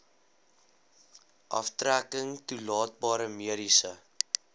aftrekking toelaatbare mediese